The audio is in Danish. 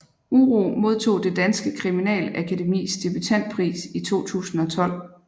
Uro modtog Det Danske Kriminalakademis debutantpris i 2012